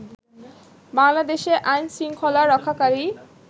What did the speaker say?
বাংলাদেশে আইনশৃঙ্খলা রক্ষাকারী